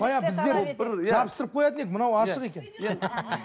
баяғы біздер жабыстырып қоятын едік мынау ашық екен иә